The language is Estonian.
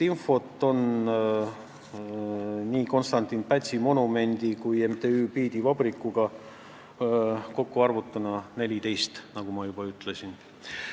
Kokku küsiti sellist infot 14 korral, nagu ma juba ütlesin.